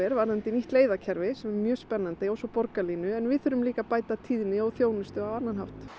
varðandi nýtt leiðakerfi sem er mjög spennandi og svo borgarlínan en við þurfum líka að bæta tíðni og þjónustu á annan hátt